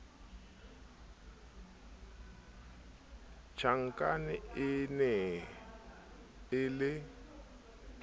tjhankane e ne e le